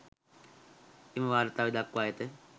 එම වාර්තාවේ දක්වා ඇත.